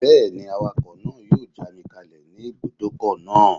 Bẹ́ẹ̀ni, awakọ̀ náà yóò já mi kalẹ̀ ní ibùdókọ̀ náà